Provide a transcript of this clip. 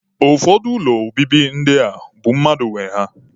Ụfọdụ ụlọ obibi ndị a bụ mmadụ nwe ya.